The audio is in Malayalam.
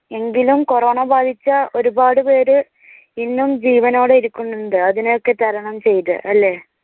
എങ്കിലും കൊറോണ ബാധിച്ച ഒരുപാട് പേര് ഇന്നും ജീവനോടെ ഇരിക്കുന്നുണ്ട്. അതിനെയൊക്കെ തരണം ചെയ്തു അല്ലേ?